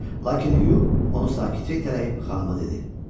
Lakin Hugh onu sakitcə itələyib xanıma dedi.